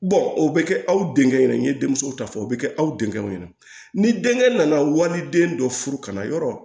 o bɛ kɛ aw denkɛ ɲɛna n ye denmuso ta fɔ o bɛ kɛ aw denkɛw ɲɛna ni denkɛ nana waliden dɔ furu ka na yɔrɔ